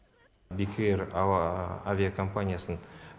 бек эйр ауа авиакомпаниясын